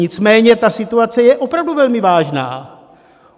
Nicméně ta situace je opravdu velmi vážná.